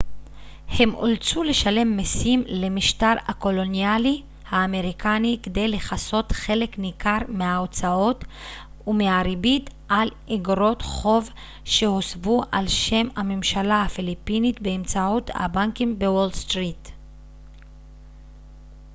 הם אולצו לשלם מסים למשטר הקולוניאלי האמריקני כדי לכסות חלק ניכר מההוצאות ומהריבית על איגרות חוב שהוסבו על שם הממשלה הפיליפינית באמצעות הבנקים בוול סטריט